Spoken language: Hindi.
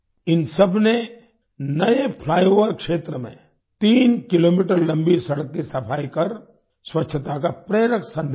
इन सबने नए फ्लाइओवर क्षेत्र में तीन किलोमीटर लम्बी सड़क की सफाई कर स्वच्छता का प्रेरक सन्देश दिया